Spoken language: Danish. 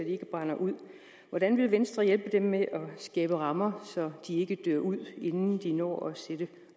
ikke brænder ud hvordan vil venstre hjælpe dem med at skabe rammer så de ikke dør ud inden de når at sætte